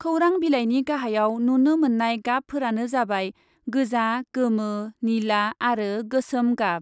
खौरां बिलाइनि गाहायाव नुनो मोननाय गाबफोरानो जाबाय गोजा, गोमो, निला आरो गोसोम गाब।